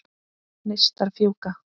Neistar fjúka.